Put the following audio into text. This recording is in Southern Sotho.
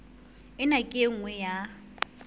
ena ke e nngwe ya